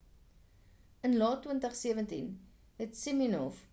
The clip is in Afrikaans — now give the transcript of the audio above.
in laat 2017 het siminoff op die televisie koopkanaal qvc verskyn